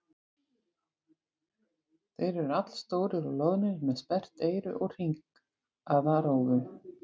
Þeir eru allstórir og loðnir með sperrt eyru og hringaða rófu.